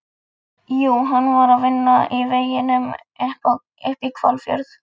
Jú, hann var að vinna í veginum upp í Hvalfjörð.